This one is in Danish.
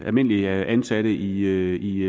almindelige ansatte i